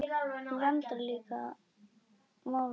Þú vandar líka málfar þitt.